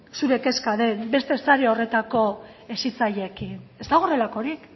zure kezka den beste sare horretako hezitzaileekin ez dago horrelakorik